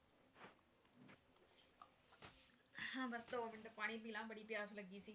ਦੋ ਮਿੰਟਪਾਣੀ ਪੀ ਲਾਂ ਬੜੀ ਪਿਆਸ ਲੱਗੀ ਸੀ